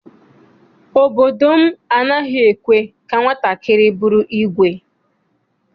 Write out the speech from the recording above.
Obodo m anaghị ekwe ka nwatakịrị bụrụ ìgwè.